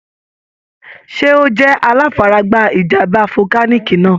Ṣẹ́ ó jẹ́ aláfaragbá ìjàm̀bá volcanic náà?